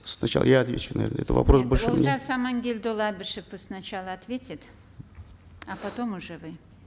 сначала я отвечу на это вопрос нет олжас аманкелдіұлы әбішев пусть сначала ответит а потом уже вы